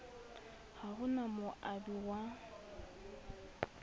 ha ho na moabi wa